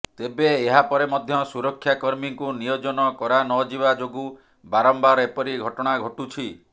ତେବେ ଏହାପରେ ମଧ୍ୟ ସୁରକ୍ଷା କର୍ମୀଙ୍କୁ ନିୟୋଜନ କରାନଯିବା ଯୋଗୁଁ ବାରମ୍ବାର ଏପରି ଘଟଣା ଘଟୁଛି